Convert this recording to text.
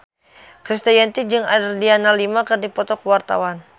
Krisdayanti jeung Adriana Lima keur dipoto ku wartawan